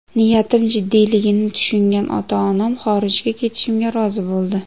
Niyatim jiddiyligini tushungan ota-onam xorijga ketishimga rozi bo‘ldi.